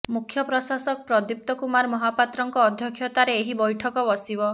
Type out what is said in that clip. ମୁଖ୍ୟ ପ୍ରଶାସକ ପ୍ରଦୀପ୍ତ କୁମାର ମହାପାତ୍ରଙ୍କ ଅଧ୍ୟକ୍ଷତାରେ ଏହି ବୈଠକ ବସିବ